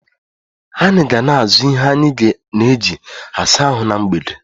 Anyị ga na-azụ ihe anyị na eji -asa ahụ na mgbede